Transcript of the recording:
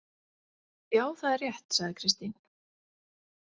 Já, það er rétt, sagði Kristín.